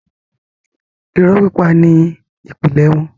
irọ́ pípa ni ìpìlẹ̀ wọn.